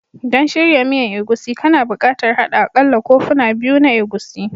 Don shirya miyan egusi, kana buƙatar haɗa aƙalla kofuna biyu na egusi